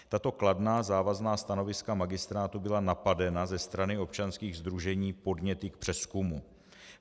Tato kladná závazná stanoviska magistrátu byla napadena ze strany občanských sdružení podněty k přezkumu.